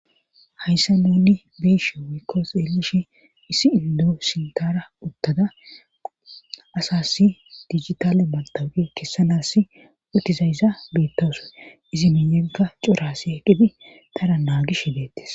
Hayssa nuni biishe wikko xeelishi issi indoo sintara uttada asassi digitale matawuqe kessanas utizayza biittasoe izi miiyenka corasi heqqidi tara naagish hdeettis